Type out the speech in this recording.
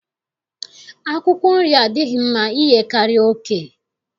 Akwụkwọ nri adịghị mma iyekarị oke